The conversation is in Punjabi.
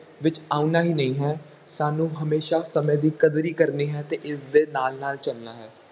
ਵਿੱਚ ਆਉਣਾ ਹੀ ਨਹੀਂ ਹੈ, ਸਾਨੂੰ ਹਮੇਸ਼ਾ ਸਮੇਂ ਦੀ ਕਦਰੀ ਕਰਨੀ ਹੈ ਤੇ ਇਸਦੇ ਨਾਲ ਨਾਲ ਚੱਲਣਾ ਹੈ।